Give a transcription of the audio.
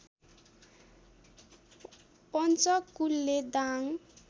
Panchakule Dang